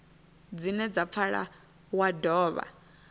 dzine dza pfala wa dovha